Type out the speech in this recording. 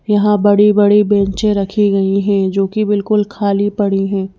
यहाँ बड़ी-बड़ी बेंचें रखी गई हैं जो कि बिल्कुल खाली पड़ी हैं।